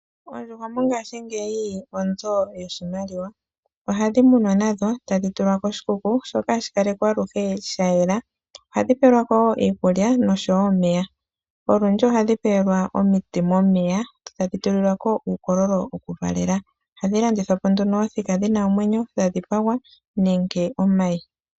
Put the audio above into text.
Oondjuhwa mongashingeyi odho onzo yoshimaliwa. Ohadhi tekulwa nadho tadhi tulwa koshikuku shoka hashi kalekwa aluhe sha yela. Ohadhi pelwako wo iikulya noshowo omeya . Olundji ohadhi pelwa omiti momeya etadhi tulilwako uukololo wokuvalela omayi. Ohadhi landithwa po nduno othika dhina omwenyo, dha dhipagwa nenge omayi.